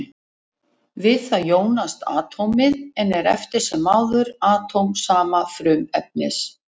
Við það jónast atómið, en er eftir sem áður atóm sama frumefnis.